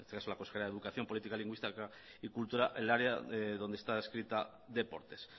la consejera de educación política lingüística y cultura el área donde está adscrita deportes